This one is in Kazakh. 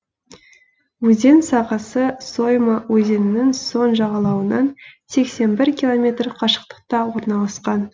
өзен сағасы сойма өзенінің сол жағалауынан сексен бір километр қашықтықта орналасқан